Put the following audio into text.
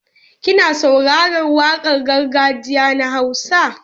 Kina saurarar waƙar gargajiya na Hausa?